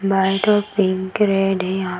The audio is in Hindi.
वाइट और पिंक रेड है यहाँ --